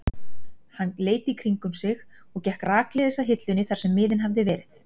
Hann leit í kringum sig og gekk rakleiðis að hillunni þar sem miðinn hafði verið.